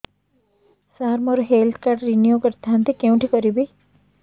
ସାର ମୋର health card renew କରିଥାନ୍ତି କେଉଁଠି କରିବି